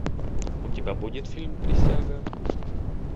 у тебя будет фильм присяга